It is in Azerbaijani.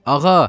Ağa.